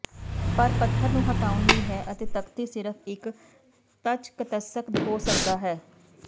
ਪਰ ਪੱਥਰ ਨੂੰ ਹਟਾਉਣ ਲਈ ਹੈ ਅਤੇ ਤਖ਼ਤੀ ਸਿਰਫ਼ ਇੱਕ ਤਚਕੱਤਸਕ ਹੋ ਸਕਦਾ ਹੈ